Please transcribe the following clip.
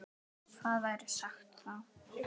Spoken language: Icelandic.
En nú skyldi hefnt.